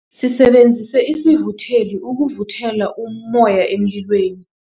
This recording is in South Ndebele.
Sisebenzise isivutheli ukuvuthela ummoya emlilweni.